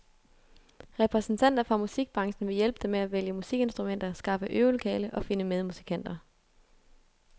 Repræsentanter fra musikbranchen vil hjælpe dem med at vælge musikinstrumenter, skaffe øvelokale og finde medmusikanter.